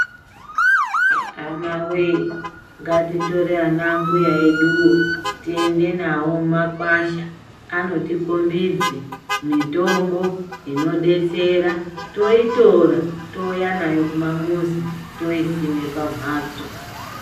Hama wee ngatitore ana mbuya vedu tiende navo kumakwasha anotikombidze mitombo inobetsera toitora touya nayo mumamuzi toisime pamhatso.